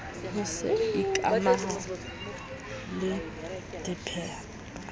ho se ikamahanye le dipehelano